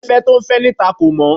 Afẹ́fẹ́ tó ń fẹ́ níta kò mọ́